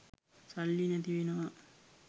සල්ලි නැති වෙනවා